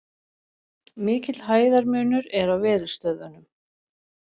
Mikill hæðarmunur er á veðurstöðvunum